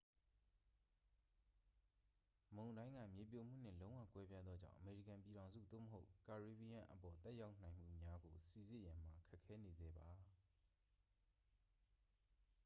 မုန်တိုင်းက မြေပြိုမှုနှင့် လုံးဝ ကွဲပြားသောကြောင့် အမေရိကန်ပြည်ထောင်စု သို့မဟုတ် ကာရေဘီယံအပေါ် သက်ရောက်နိုင်မှုများကို စိစစ်ရန်မှာ ခက်ခဲနေဆဲပါ